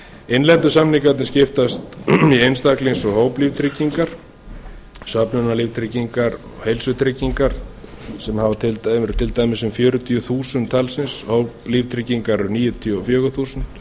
innlendu samningarnir skiptast í einstaklings og hóplíftryggingar samvinnulíftryggingar og heilsutryggingar sem eru til dæmis um fjörutíu þúsund talsins og líftryggingar eru níutíu og fjögur þúsund